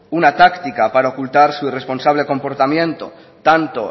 una táctica para ocultar su responsable comportamiento tanto